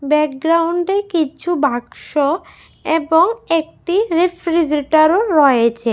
ব্যাকগ্রাউন্ডে কিছু বাক্স এবং একটি রেফ্রিজারেটরও রয়েছে।